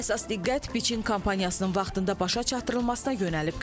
Əsas diqqət biçin kampaniyasının vaxtında başa çatdırılmasına yönəlib.